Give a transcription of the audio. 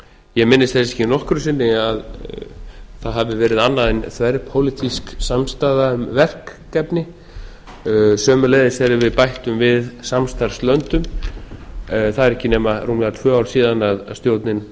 ég minnist þess ekki nokkru sinni að það hafi verið annað en þverpólitísk samstaða um verkefni sömuleiðis þegar við bættum við samstarfslöndum það eru ekki nema rúmlega tvö ár síðan stjórnin